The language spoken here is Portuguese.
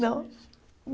Não?